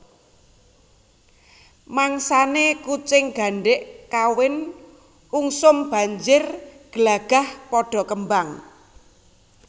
Mangsané kucing gandhik kawin ungsum banjir glagah padha kembang